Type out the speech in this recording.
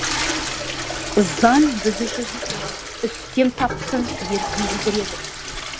заң біз үшін үстем таптың еркін білдіреді